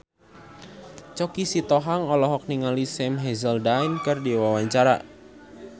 Choky Sitohang olohok ningali Sam Hazeldine keur diwawancara